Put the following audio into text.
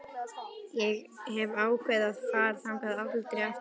Ég hef ákveðið að fara þangað aldrei aftur.